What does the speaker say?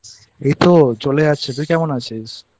এইতো চলে যাচ্ছে তুই কেমন আছিস?